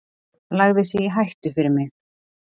Lagði sig í hættu fyrir mig.